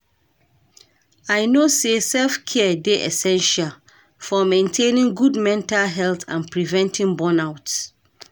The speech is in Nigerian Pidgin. I know say self-care dey essential for maintaining good mental health and preventing burnout.